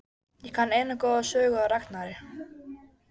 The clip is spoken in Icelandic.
Ég kann eina góða sögu af Ragnari.